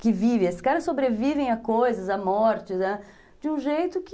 Que vivem, esses caras sobrevivem a coisas, a mortes, de um jeito que...